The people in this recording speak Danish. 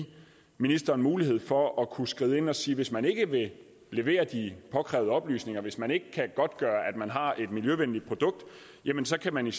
ministeren mulighed for at kunne skride ind og sige hvis man ikke vil levere de påkrævede oplysninger hvis man ikke kan godtgøre at man har et miljøvenligt produkt jamen så kan man